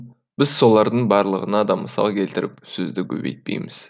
біз солардың барлығына да мысал келтіріп сөзді көбейтпейміз